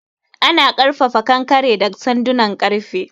Ana ƙarfafa kankare da sandunan ƙarfe.